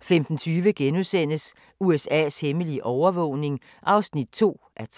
15:20: USA's hemmelige overvågning (2:3)*